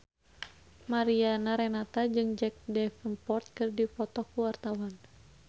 Mariana Renata jeung Jack Davenport keur dipoto ku wartawan